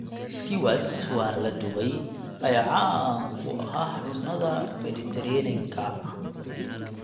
Skewers wan la dubay ayaa caan ku ah cunnada Mediterranean-ka.